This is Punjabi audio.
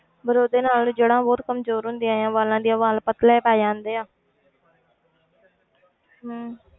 ਪਰ ਉਹਦੇ ਨਾਲ ਜੜ੍ਹਾਂ ਬਹੁਤ ਕਮਜ਼ੋਰ ਹੁੰਦੀਆਂ ਹੈ ਵਾਲਾਂ ਦੀਆਂ ਵਾਲ ਪਤਲੇ ਪੈ ਜਾਂਦੇ ਆ ਹਮ